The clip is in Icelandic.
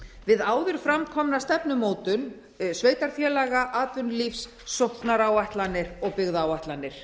við áður fram komna stefnumótun sveitarfélaga atvinnulífs sóknaráætlanir og byggðaáætlanir